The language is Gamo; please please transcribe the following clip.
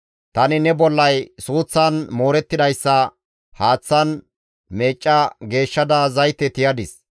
«Tani ne bollay suuththan moorettidayssa haaththan meecca geeshshada zayte tiyadis.